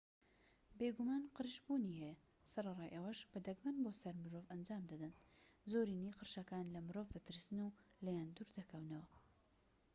بێگومان قرش بوونی هەیە سەرەڕای ئەوەش بە دەگمەن بۆ سەر مرۆڤ ئەنجام دەدەن زۆرینەی قرشەکان لە مرۆڤ دەترسن و لێیان دوور دەکەونەوە